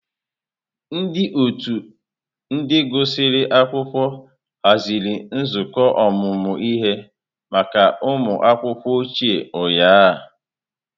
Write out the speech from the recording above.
Ndị otu ndị gụsịrị akwụkwọ haziri nzukọ ọmụmụ ihe maka ụmụ akwụkwọ ochie ụnyahụ.